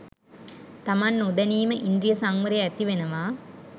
තමන් නොදැනීම ඉන්ද්‍රිය සංවරය ඇතිවෙනවා